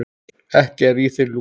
Ekki er í þér lús